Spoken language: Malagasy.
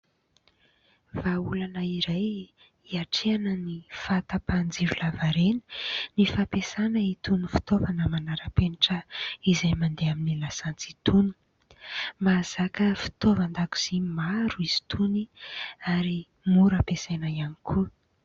Vahaolana iray hiatrehana ny fahatapahan-jiro lava reny ny fampiasana itony fitaovana manara-penitra, izay mandeha amin'ny lasantsy itony. Mazaka fitaovan-dakozia maro izy itony, ary mora ampiasaina ihany koa.